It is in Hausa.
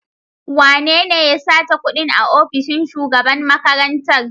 Wanene ya sace kuɗin a ofishin shugaban makarantar?